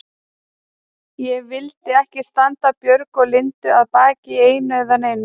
Ég vildi ekki standa Björgu og Lindu að baki í einu eða neinu.